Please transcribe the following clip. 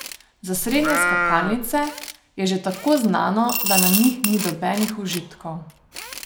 Za srednje skakalnice je že tako znano, da na njih ni nobenih užitkov.